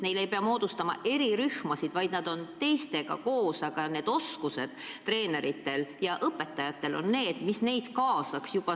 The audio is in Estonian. Neile ei peaks moodustama erirühmasid, vaid nad oleksid teistega koos ning treenerid ja õpetajad oskaksid neid kaasata.